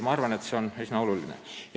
Ma arvan, et see on üsna oluline.